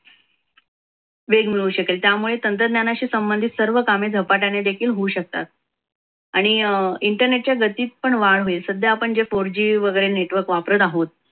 वेग मिळू शकेल त्यामुळे तंत्रज्ञानाशी संबंधित सर्व कामे झपाट्याने देखील होऊ शकतात. आणि internet च्या गतीत पण वाढ होईल. सध्या आपण जे four g वगैरे network वापरत आहोत,